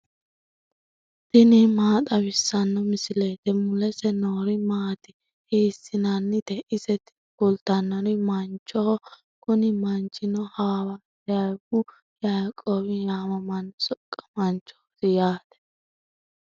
tini maa xawissanno misileeti ? mulese noori maati ? hiissinannite ise ? tini kultannori manchoho, kuni manchino hawaariyaawu yaaqoowi yaamamanno soqqamaanchooti yaate.